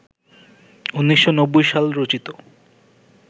১৯৯০ সাল রচিত